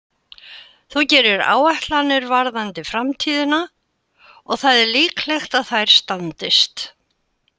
Þú gerir áætlanir varðandi framtíðina og það er líklegt að þær standist.